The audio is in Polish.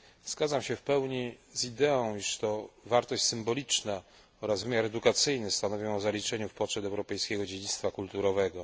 Zgadzam się w pełni z ideą, iż to wartość symboliczna oraz wymiar edukacyjny stanowią o zaliczeniu w poczet europejskiego dziedzictwa kulturowego.